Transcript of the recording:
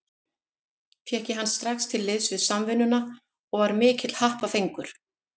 Fékk ég hann strax til liðs við Samvinnuna og var mikill happafengur.